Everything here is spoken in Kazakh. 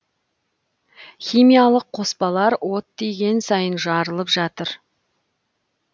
химиялық қоспалар от тиген сайын жарылып жатыр